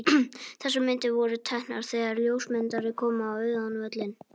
Þessar myndir voru teknar þegar ljósmyndari kom á auðan völlinn.